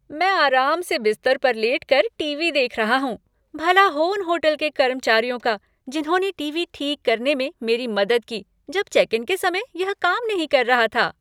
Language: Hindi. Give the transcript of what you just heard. मैं आराम से बिस्तर पर लेटकर टीवी देख रहा हूँ। भला हो उन होटल के कर्मचारियों का जिन्होंने टीवी ठीक करने में मेरी मदद की जब चेक इन के समय यह काम नहीं कर रहा था।